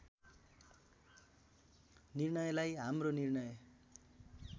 निर्णयलाई हाम्रो निर्णय